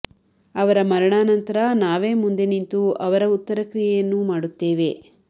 ಅವರ ಮರಣಾ ನಂತರ ನಾವೇ ಮುಂದೆ ನಿಂತು ಅವರ ಉತ್ತರಕ್ರಿಯೆಯನ್ನೂ ಮಾಡುತ್ತೇವೆ